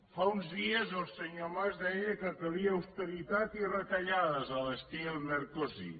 fa uns dies el senyor mas deia que calien austeritat i retallades a l’estil merkozy